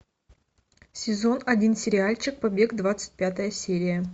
сезон один сериальчик побег двадцать пятая серия